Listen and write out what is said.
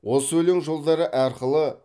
осы өлең жолдары арқылы